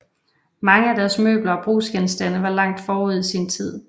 Mange af deres møbler og brugsgenstande var langt forud sin tid